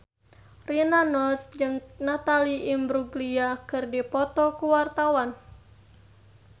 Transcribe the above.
Rina Nose jeung Natalie Imbruglia keur dipoto ku wartawan